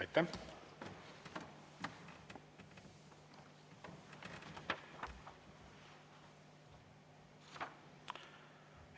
Aitäh!